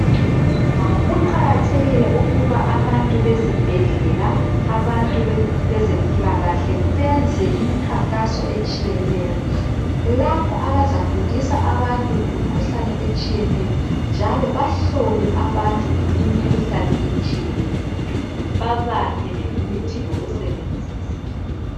Kuqakathekile ukuba abantu bezibhedlela abantu bezempilakahle benze imikhankaso etshiyeneyo lapho abazafundisa abantu ngemikhuhlane etshiyeneyo njalo bahlole abantu imikhuhlane etshiyeneyo babaphe lemithi yokusebenzisa.